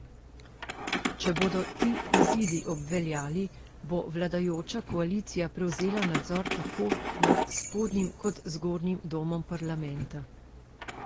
Če bodo ti izidi obveljali, bo vladajoča koalicija prevzela nadzor tako nad spodnjim kot zgornjim domom parlamenta.